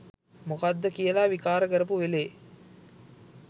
මොකක්ද කියලා විකාර කරපු වෙලේ